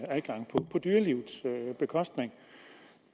adgang på bekostning